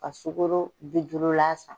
Ka sukoro bi duurula san.